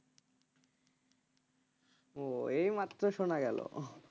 ও এইমাত্র শোনা গেল